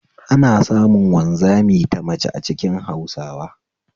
Ana samun wanzami ta mace a cikin Hausawa